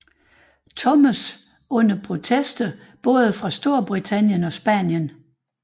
Thomas under protester både fra Storbritannien og Spanien